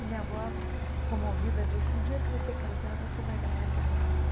E minha avó, comovida, disse, um dia que você casar, você vai ganhar esse armário.